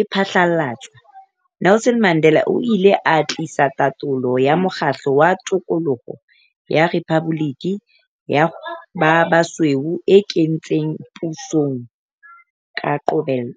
e phatlalatswa, Nelson Mandela o ile a tiisa tatolo ya mokgatlo wa tokoloho ya rephaboliki ya ba basweu e kentsweng pusong ka qobello.